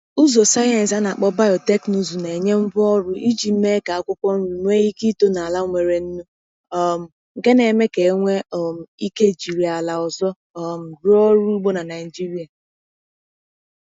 Ụzọ sayensị a na-akpọ biotekịnụzụ na-enye ngwaọrụ iji mee ka akwụkwọ nri nwee ike ito n’ala nwere nnu, um nke na-eme ka e nwee um ike jiri ala ọzọ um rụọ ọrụ ugbo na Nigeria.